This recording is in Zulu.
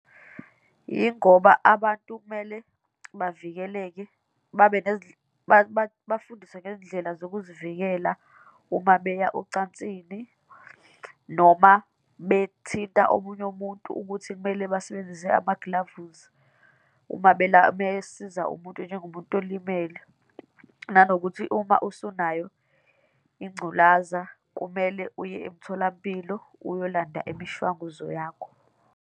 Yingoba abantu kumele bavikeleke, babe bafundiswe ngezindlela zokuzivikela uma beya ocansini, noma bethinta omunye umuntu ukuthi kumele basebenzise amagilavuzi uma besiza umuntu, njengomuntu olimele, nanokuthi uma usunayo ingculaza, kumele uye emtholampilo, uyolanda imishwanguzo yakho.